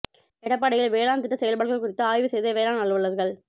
எடப்பாடியில் வேளாண் திட்ட செயல்பாடுகள் குறித்த ஆய்வு செய்த வேளாண் அலுவலா்கள்